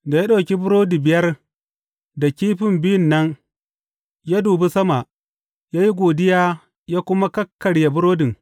Da ya ɗauki burodi biyar da kifin biyun nan ya dubi sama, ya yi godiya ya kuma kakkarya burodin.